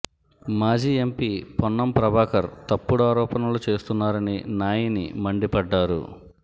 మాజీ ఎంపీ పొన్నం ప్రభాకర్ తప్పుడు ఆరోపణలు చేస్తున్నారని నాయిని మండిపడ్డారు